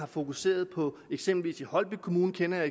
fokuseret på eksempelvis i holbæk kommune kender jeg